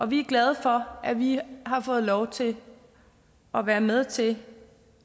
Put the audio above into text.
vi er glade for at vi har fået lov til at være med til